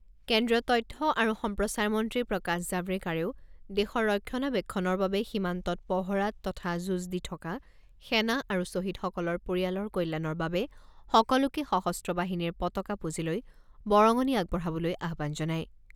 কেন্দ্ৰীয় তথ্য আৰু সম্প্ৰচাৰ মন্ত্ৰী প্ৰকাশ জাভড়েকাৰেও দেশৰ ৰক্ষণাবেক্ষণৰ বাবে সীমান্তত পহৰাত তথা যুঁজ দি থকা সেনা আৰু শ্বহীদসকলৰ পৰিয়ালৰ কল্যাণৰ বাবে সকলোকে সশস্ত্ৰ বাহিনীৰ পতাকা পুঁজিলৈ বৰঙণি আগবঢ়াবলৈ আহ্বান জনায়।